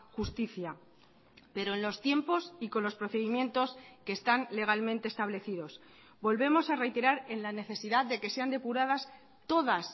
justicia pero en los tiempos y con los procedimientos que están legalmente establecidos volvemos a reiterar en la necesidad de que sean depuradas todas